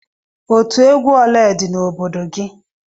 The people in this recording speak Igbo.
Otú egwu ole dị n'obodo gị?